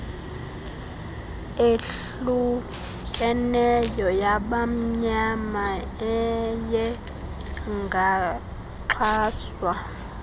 ehlukeneyo yabamnyama ayengaxhaswa